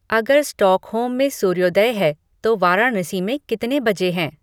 अगर स्टॉकहोल्म में सूर्योदय है तो वाराणसी में कितने बजे हैं